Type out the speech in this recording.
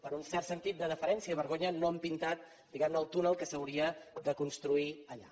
per un cert sentit de deferència i vergonya no han pintat diguem ne el túnel que s’hauria de construir allà